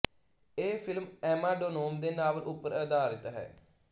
ਇਹ film Emma Donoghue ਦੇ novel ਉੱਪਰ ਆਧਾਰਿਤ ਹੈ